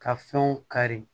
Ka fɛnw kari